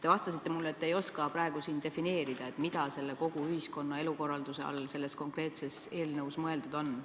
Te vastasite mulle, et te ei oska praegu siin defineerida, mida selle kogu ühiskonna elukorralduse all eelnõus mõeldud on.